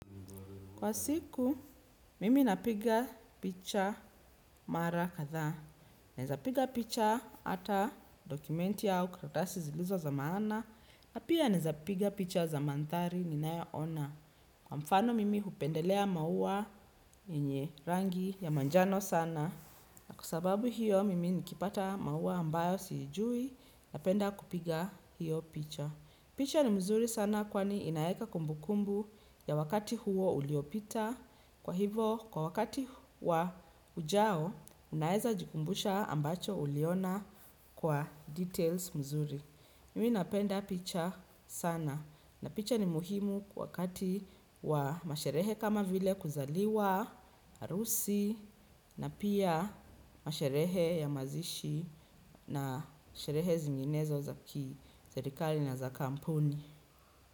Kwa siku, mimi napiga picha mara kadhaa. Naezapiga picha hata dokumenti au karatasi zilizo za maana. Na pia naezapiga picha za mandhari ninayo ona. Kwa mfano mimi hupendelea maua yenye rangi ya manjano sana. Na kwa sababu hiyo, mimi nikipata maua ambayo siijui napenda kupiga hiyo picha. Picha ni mzuri sana kwani inaeka kumbu kumbu ya wakati huo uliopita. Kwa hivo, kwa wakati wa ujao, unaeza jikumbusha ambacho uliona kwa details mzuri. Mimi napenda picha sana. Na picha ni muhimu kwa wakati wa masherehe kama vile kuzaliwa, arusi, na pia masherehe ya mazishi na masherehe zinginezo za kii, serikali na za kampuni.